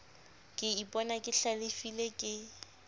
ke ipona ke hlalefile ke